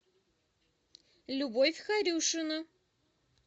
любовь харюшина